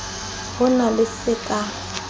ho na le se ka